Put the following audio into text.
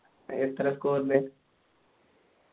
എത്ര score ൽ